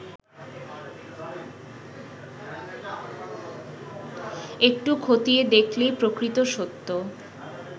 একটু খতিয়ে দেখলেই প্রকৃত সত্য